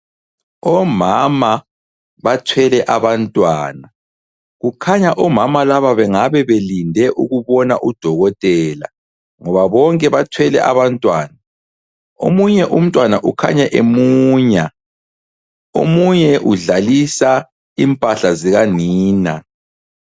Omama bathwele abantwana kukhanya omama laba bengabe belinde ukubona udokotela, ngoba bonke bathwele abantwana omunye umntwana ukhanya emunya omunye udlalisa impahla zikanina.